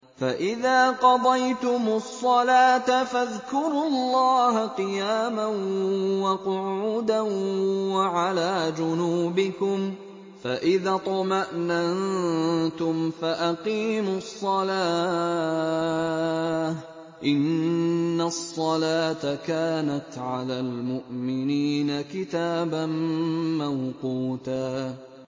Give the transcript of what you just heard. فَإِذَا قَضَيْتُمُ الصَّلَاةَ فَاذْكُرُوا اللَّهَ قِيَامًا وَقُعُودًا وَعَلَىٰ جُنُوبِكُمْ ۚ فَإِذَا اطْمَأْنَنتُمْ فَأَقِيمُوا الصَّلَاةَ ۚ إِنَّ الصَّلَاةَ كَانَتْ عَلَى الْمُؤْمِنِينَ كِتَابًا مَّوْقُوتًا